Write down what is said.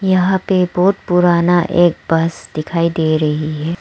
यहां पे बहुत पुराना एक बस दिखाई दे रही है।